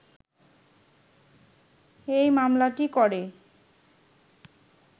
এই মামলাটি করে